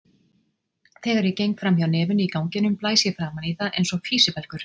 Þegar ég geng fram hjá nefinu í ganginum blæs ég framan í það einsog físibelgur.